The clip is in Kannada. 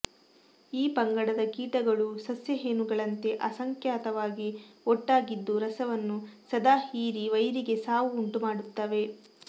ಈ ಪಂಗಡದ ಕೀಟಗಳೂ ಸಸ್ಯ ಹೇನುಗಳಂತೆ ಅಸಂಖ್ಯಾತವಾಗಿ ಒಟ್ಟಾಗಿದ್ದು ರಸವನ್ನು ಸದಾ ಹೀರಿ ವೈರಿಗೆ ಸಾವು ಉಂಟು ಮಾಡುತ್ತವೆ